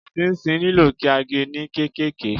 Ṣinṣin nílò kí a ge ní kéékèèké.